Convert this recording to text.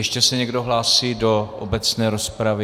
Ještě se někdo hlásí do obecné rozpravy?